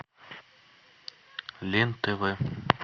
лен тв